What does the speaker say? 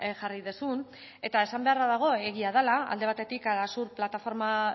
jarri duzun eta esan beharra dago egia dela alde batetik arasur plataforma